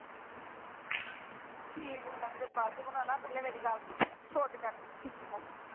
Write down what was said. ਠੀਕ ਹੈ ਇਹ ਬਾਅਦ ਚ ਬਣਾਉਣਾ ਪਹਿਲਾਂ ਮੇਰੀ ਗੱਲ ਸੁਣ